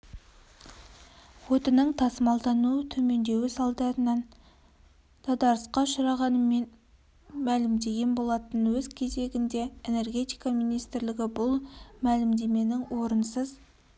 отының тасымалдануы төмендеуі салдарынан дағдарысқа ұшырағанын мәлімдеген болатын өз кезегінде энергетика министрлігі бұл мәлімдеменің орынсыз